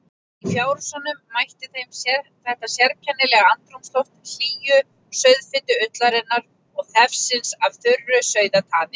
Í fjárhúsinu mætti þeim þetta sérkennilega andrúmsloft hlýju, sauðfitu ullarinnar og þefsins af þurru sauðataði.